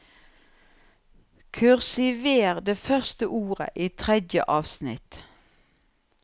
Kursiver det første ordet i tredje avsnitt